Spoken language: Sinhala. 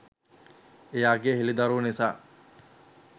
එයාගේ හෙළිදරව් නිසා